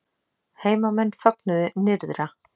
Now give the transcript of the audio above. Heimamenn fögnuðu nyrðra